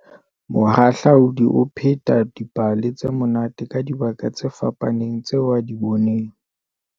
mohahlaudi o pheta dipale tse monate ka dibaka tse fapaneng tseo a di boneng